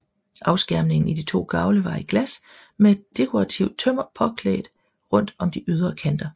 Afskærmningen i de to gavle var i glas med dekorativt tømmer påklædt rundt om de ydre kanter